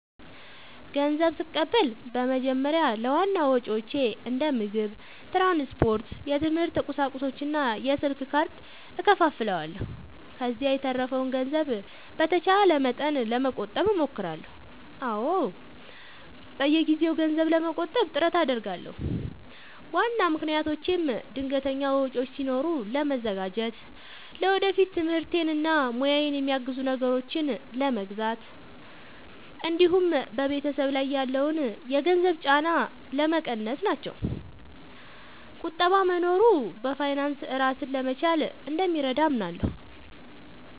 ንዘብ ስቀበል በመጀመሪያ ለዋና ወጪዎቼ እንደ ምግብ፣ ትራንስፖርት፣ የትምህርት ቁሳቁሶች እና የስልክ ካርድ እከፋፍለዋለሁ። ከዚያ የተረፈውን ገንዘብ በተቻለ መጠን ለመቆጠብ እሞክራለሁ። አዎ፣ በየጊዜው ገንዘብ ለመቆጠብ ጥረት አደርጋለሁ። ዋና ምክንያቶቼም ድንገተኛ ወጪዎች ሲኖሩ ለመዘጋጀት፣ ለወደፊት ትምህርቴን እና ሙያዬን የሚያግዙ ነገሮችን ለመግዛት እንዲሁም በቤተሰብ ላይ ያለውን የገንዘብ ጫና ለመቀነስ ናቸው። ቁጠባ መኖሩ በፋይናንስ ራስን ለመቻል እንደሚረዳ አምናለሁ።